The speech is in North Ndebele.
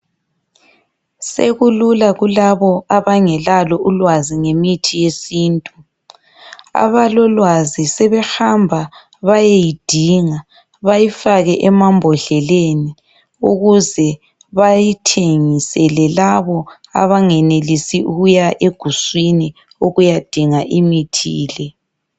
Sekulula kulabo abangelalo ulwazi ngemithi yesintu. Abalolwazi sebehamba bayeyidinga, bayifake emambodleleni ukuze bayithengisele labo abangenelisi ukuya eguswini ukuyadinga imithi le.